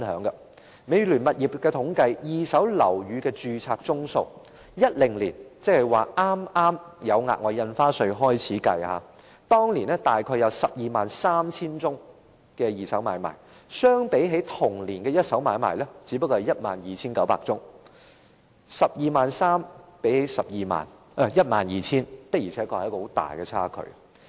根據美聯物業統計的二手樓宇買賣註冊宗數，在2010年剛推出額外印花稅時，二手買賣約有 123,000 宗，相比同年的一手買賣只有 12,900 宗 ；123,000 宗與 12,900 宗的差距確實很大。